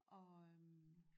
Og øh